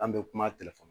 An bɛ kuma